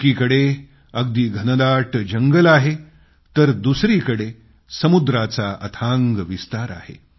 एकीकडे अगदी घनदाट जंगल आहे तर दुसरीकडे समुद्राचा अथांग विस्तार आहे